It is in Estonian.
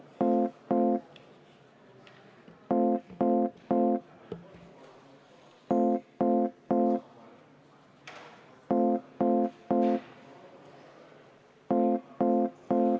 Aitäh!